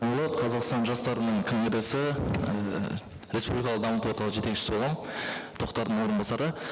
қазақстан жастарының командасы ііі республикалық дамыту орталығы жетекшісі боламын тоқтардың орынбасары